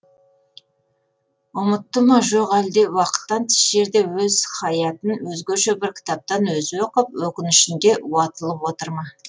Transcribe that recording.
ұмытты ма жоқ әлде уақыттан тыс жерде өз хаятын өзгеше бір кітаптан өзі оқып өкінішінде уатылып отыр ма